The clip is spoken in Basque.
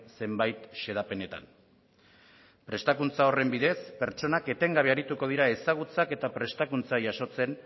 zenbait xedapenetan prestakuntza horren bidez pertsonak etengabe arituko dira ezagutzak eta prestakuntza jasotzen